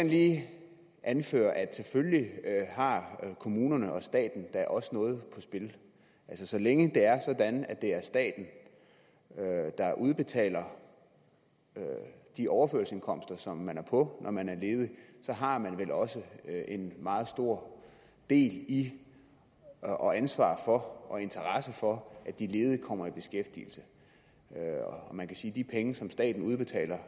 lige anføre at selvfølgelig har kommunerne og staten da også noget på spil altså så længe det er sådan at det er staten der udbetaler de overførselsindkomster som man er på når man er ledig så har man vel også en meget stor del i og ansvar for og interesse for at de ledige kommer i beskæftigelse og man kan sige at de penge som staten udbetaler